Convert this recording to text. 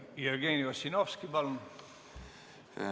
Jevgeni Ossinovski, palun!